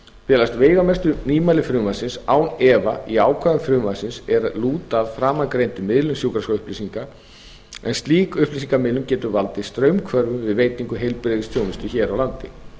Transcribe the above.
felast veigamestu nýmæli frumvarpsins án efa í ákvæðum frumvarpsins er lúta að framangreindri miðlun sjúkraskrárupplýsinga en slík upplýsingamiðlun getur valdið straumhvörfum við veitingu heilbrigðisþjónustu hér á landi